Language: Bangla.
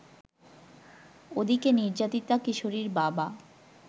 ওদিকে নির্যাতিতা কিশোরীর বাবা